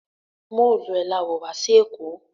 Móòluẹ̀ la wọ̀ wá sí èkó